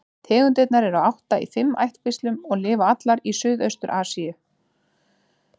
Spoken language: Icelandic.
Tegundirnar eru átta í fimm ættkvíslum og lifa allar í Suðaustur-Asíu.